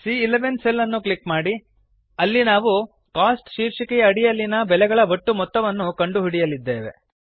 ಸಿಎ11 cell ಅನ್ನು click ಮಾಡಿ ಅಲ್ಲಿ ನಾವು ಕೋಸ್ಟ್ ಶೀರ್ಷಿಕೆಯ ಅಡಿಯಲ್ಲಿನ ಬೆಲೆಗಳ ಒಟ್ಟು ಮೊತ್ತವನ್ನು ಕಂಡುಹಿಡಿಯಲಿದ್ದೇವೆ